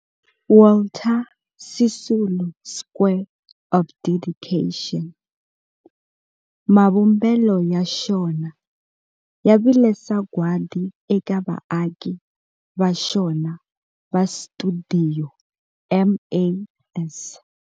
Walter Sisulu Square of Dedication, mavumbelo ya xona ya vile sagwadi eka vaaki va xona va stuidio MAS.